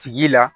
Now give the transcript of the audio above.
Tigi la